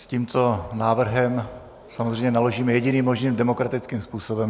S tímto návrhem samozřejmě naložíme jediným možným demokratickým způsobem.